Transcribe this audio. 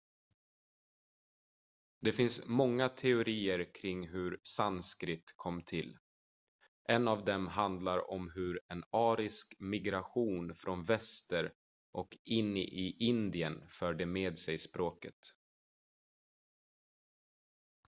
det finns många teorier kring hur sanskrit kom till en av dem handlar om hur en arisk migration från väster och in i indien förde med sig språket